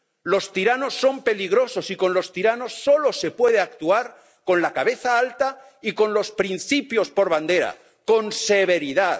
Los tiranos son peligrosos y con los tiranos solo se puede actuar con la cabeza alta y con los principios por bandera, con severidad.